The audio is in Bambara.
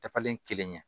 Dabalen kelen ye